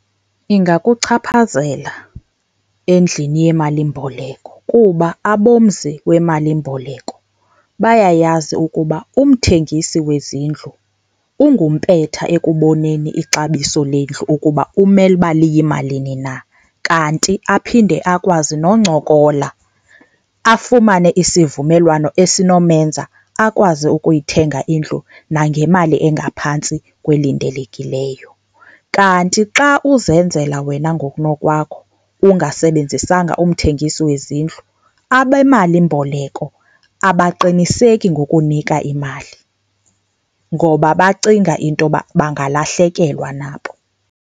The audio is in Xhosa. Ingakuchaphazela endlini yemalimboleko kuba abomzi wemalimboleko bayayazi ukuba umthengisi wezindlu ungumpetha ekuboneni ixabiso lendlu ukuba kumele uba liyimalini na, kanti aphinde akwazi noncokola afumane isivumelwano esinomenza akwazi ukuyithenga indlu nangemali engaphantsi kwelindelekileyo. Kanti xa uzenzela wena ngokunokwakho ungasebenzisanga umthengisi wezindlu abemalimboleko abaqiniseki ngokunika imali ngoba bacinga into yoba bangalahlekelwa nabo.